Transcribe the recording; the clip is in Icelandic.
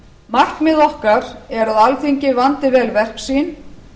markmið okkar er að alþingi vandi vel verk sín